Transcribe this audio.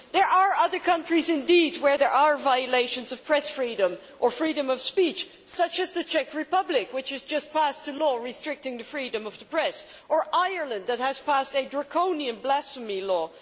There are other countries where there are violations of press freedom or freedom of speech, such as the Czech Republic, which has just passed a law restricting the freedom of the press, or Ireland, which has passed a draconian blasphemy law.